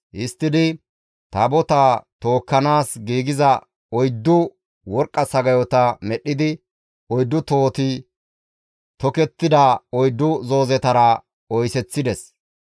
Histtidi Taabotaa tookkanaas giigiza oyddu worqqa sagayota medhdhidi oyddu tohoti tokettida oyddu zoozetara oyseththides.